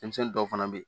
Denmisɛnnin dɔw fana be ye